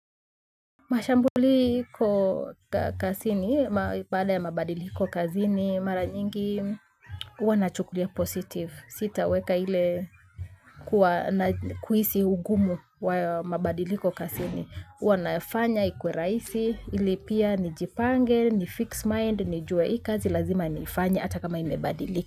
Mashambuli iko kazini, baada ya mabadiliko kazini mara nyingi huwa nachukulia positive. Sitaweka ile kuhisi ugumu wa mabadiliko kazini. Huwa nafanya ikuwe rahisi hili pia nijipange ni fix mind nijue hii kazi lazima nifanye hata kama ibadilike.